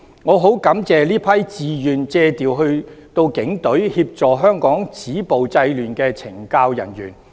我十分感謝這些自願借調到警隊，協助香港止暴制亂的懲教人員。